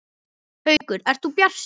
Haukur: Ert þú bjartsýnn?